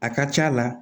A ka c'a la